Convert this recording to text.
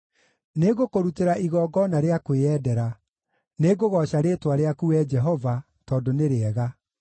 Nĩngũkũrutĩra igongona rĩa kwĩyendera; nĩngũgooca rĩĩtwa rĩaku, Wee Jehova, tondũ nĩ rĩega.